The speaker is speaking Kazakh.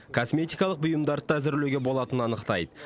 косметикалық бұйымдарды да әзірлеуге болатынын анықтайды